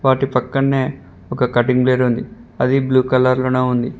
వాటి పక్కన్నె ఒక కటింగ్ బ్లేడ్ ఉంది అది బ్లూ కలర్ లోనే ఉంది.